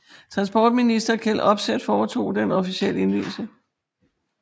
Transportminister Kjell Opseth foretog den officielle indvielse